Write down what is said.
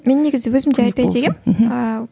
мен негізі өзім де айтайын дегенмін ііі